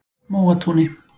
Móatúni